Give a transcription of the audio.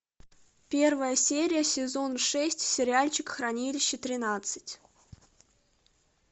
первая серия сезон шесть сериальчик хранилище тринадцать